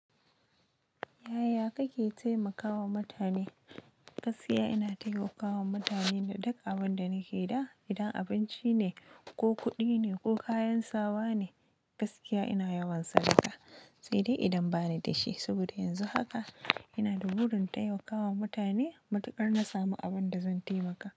Yaya kake taimakawa mutane? Gaskiya ina taimakawa mutane da duk abin da nake da. Idan abinci ne ko kuɗi ne ko kayan sawa ne, gaskiya ina yawan sadaka, sai dai idan bani da shi. Saboda yanzu haka ina da burin taimakawa mutane matukar na samu abin da zan taimaka.